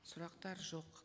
сұрақтар жоқ